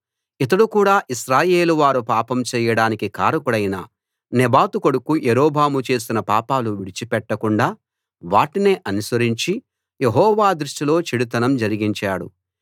ఇతడు కూడా ఇశ్రాయేలు వారు పాపం చెయ్యడానికి కారకుడైన నెబాతు కొడుకు యరొబాము చేసిన పాపాలు విడిచిపెట్టకుండా వాటినే అనుసరించి యెహోవా దృష్టిలో చెడుతనం జరిగించాడు